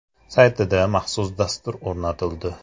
saytida maxsus dastur o‘rnatildi.